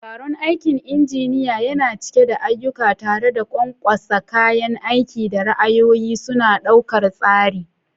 Taron aikin injiniya yana cike da ayyuka, tare da ƙwanƙwasa kayan aiki da ra'ayoyi suna ɗaukar tsari.